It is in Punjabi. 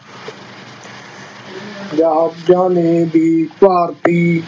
ਜਹਾਜ਼ਾਂ ਨੇ ਵੀ ਭਾਰਤੀ